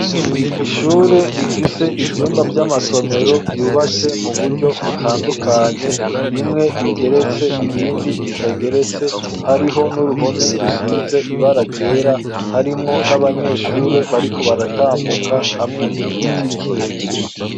Ishure rifise ivyumba vy'amasomero vyubatse mu buryo butandukanye bimwe bigeretse, ibindi bitageretse, hariho n'uruhome rusize ibara ryera harimwo n'abanyeshure bariko baratambuka, hamwe n'igiti kirekire.